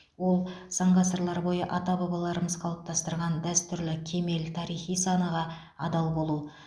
ол сан ғасырлар бойы ата бабаларымыз қалыптастырған дәстүрлі кемел тарихи санаға адал болу